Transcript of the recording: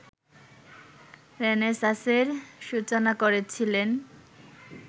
রেনেসাঁসের সূচনা করেছিলেন